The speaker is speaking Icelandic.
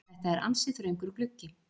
Þetta er ansi þröngur gluggi.